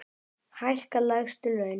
Hækka lægstu laun.